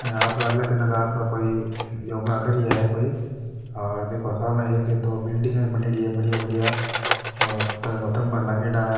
यहाँ पे अलग अलग आपका कोई योगा कर रिया है कोई और देखो साम एक दो बिलडिंग बन रही है बढ़िया बढ़िया और खम्भा लागेड़ा है।